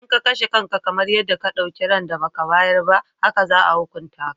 Idan ka kashe kanka, kamar yadda ka ɗauki ran da ba ka bayar ba haka za a hukunta ka.